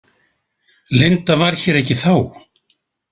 Linda var hér ekki þá?